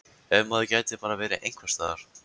Ef maður gæti bara verið einhvers staðar.